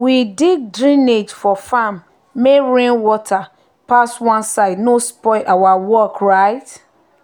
we dig drainage for farm make rainwater pass one side no spoil our work. um